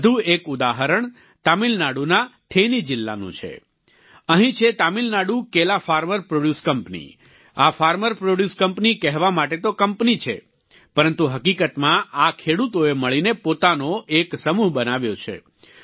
વધુ એક ઉદાહરણ તામિલનાડુના થેનિ જિલ્લાનું છે અહીં છે તામિલનાડુ કેલા ફાર્મર પ્રોડ્યુસ કંપની આ ફાર્મર પ્રોડ્યુસ કંપની કહેવા માટે તો કંપની છે પરંતુ હકીકતમાં આ ખેડૂતોએ મળીને પોતાનો એક સમૂહ બનાવ્યો છે